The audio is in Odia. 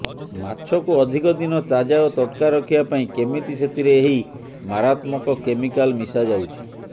ମାଛକୁ ଅଧିକ ଦିନ ତାଜା ଓ ତଟକା ରଖିବା ପାଇଁ କେମିତି ସେଥିରେ ଏହି ମାରାତ୍ମକ କେମିକାଲ ମିଶାଯାଉଛି